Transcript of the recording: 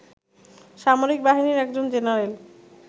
সামরিক বাহিনীর একজন জেনারেল